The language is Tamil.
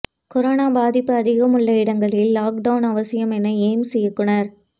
கொரோனா பாதிப்பு அதிகம் உள்ள இடங்களில் லாக்டவுன் அவசியம் என எய்ம்ஸ் இயக்குனர்